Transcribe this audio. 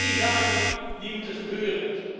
Er zijn drie zaken die moeten gebeuren.